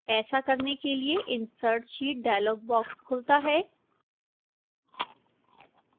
ऐसा करने के लिए insert sheet dialog box खुलता है